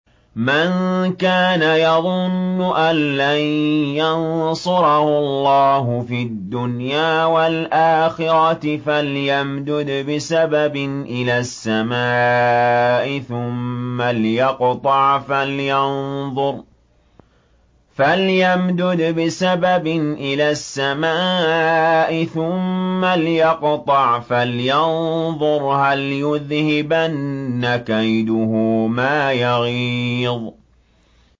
مَن كَانَ يَظُنُّ أَن لَّن يَنصُرَهُ اللَّهُ فِي الدُّنْيَا وَالْآخِرَةِ فَلْيَمْدُدْ بِسَبَبٍ إِلَى السَّمَاءِ ثُمَّ لْيَقْطَعْ فَلْيَنظُرْ هَلْ يُذْهِبَنَّ كَيْدُهُ مَا يَغِيظُ